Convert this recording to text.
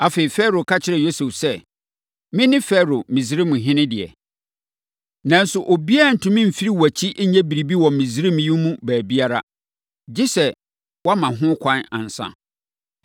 Afei, Farao ka kyerɛɛ Yosef sɛ, “Mene Farao Misraimhene deɛ, nanso obiara ntumi mfiri wʼakyi nyɛ biribiara wɔ Misraiman yi mu baabiara, gye sɛ woama ho kwan ansa.”